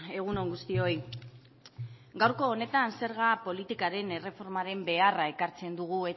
egun on guztioi gaurko honetan zerga politikaren erreformaren beharra ekartzen dugu